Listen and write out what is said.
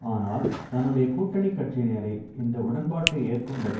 ஆனால் தன்னுடைய கூட்டணி கட்சியினரை இந்த உடன்பாட்டை ஏற்கும்படி